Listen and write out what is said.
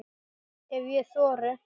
Ef ég þori.